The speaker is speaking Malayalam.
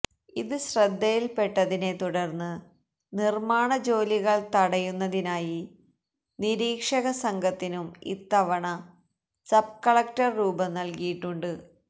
ഇത് ശ്രദ്ധയിൽപെട്ടതിനെ തുടർന്ന് നിര്മ്മാണ ജോലികൾ തടയിടുന്നതിനായി നിരീക്ഷക സംഘത്തിനും ഇത്തവണ സബ്കളക്ടർ രൂപം നല്കിയിട്ടുണ്ട്